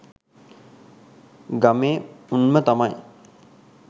ගමේ උන්ම තමයි